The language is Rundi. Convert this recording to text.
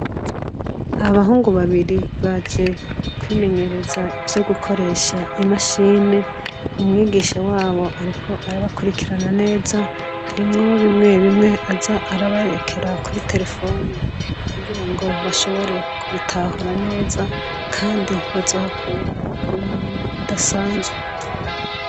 Abahungu babiri baje kwimenyereza ivyo gukoresha imashini, umwigisha wabo ariko arabakurikirana neza, harimwo bimwebimwe aza araberekera kuri terefoni kugirango bashobore kubitahura neza kandi bazohakura ubumenyi budasanzwe.